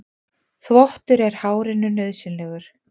Þvottur er hárinu nauðsynlegur.